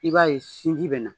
I b'a ye sinji bɛ na